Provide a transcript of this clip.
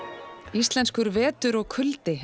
íslenskur vetur og kuldi